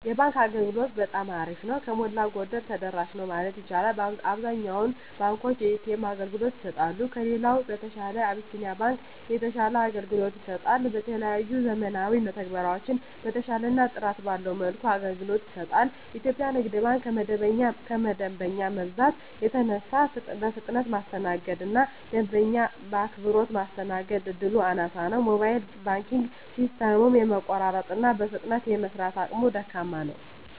የባንክ አገልግሎት በጠማ አሪፍ ነው። ከሞላ ጎደል ተደራሽ ነው ማለት ይቻላል። አብዛኛውን ባንኮች የኤ.ተ.ኤም አገልግሎት ይሰጣሉ። ከሌላው በተሻለ አብሲኒያ ባንክ የተሻለ አገልግሎት ይሰጣል። የተለያዩ ዘመናዊ መተግበሪያዎችን በተሻለና ጥራት ባለው መልኩ አገልግሎት ይሰጣል። ኢትዮጵያ ንግድ ባንክ ከደንበኛ መብዛት የተነሳ በፍጥነት የማስተናገድ እና ደንበኛ በአክብሮት ማስተናገድ እድሉ አናሳ ነው። የሞባይል ባንኪንግ ሲስተሙም የመቆራረጥ እና በፍጥነት የመስራት አቅሙ ደካማ ነው።